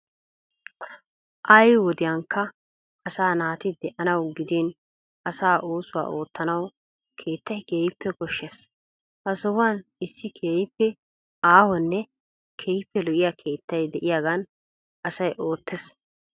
Ay wodiyankka asaa naati de'anawu gidin issi oosuwa oottanawu keettay keehippe koshshees. Ha sohuwan issi keehippe aahonne keehippe lo'iya keettay de'iyagan asay oottees.